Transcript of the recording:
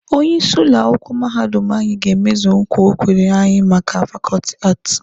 Onye isi ụlọ akwụkwọ mahadum anyị ga-emezu nkwa o kwere anyị maka fakọọtị Aati.